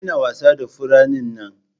Ka daina wasa da furannin nan!